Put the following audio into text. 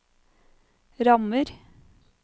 rammer